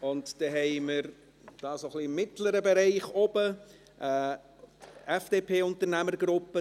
Dann haben wir im mittleren Bereich auf der Tribüne eine FDP-Unternehmergruppe.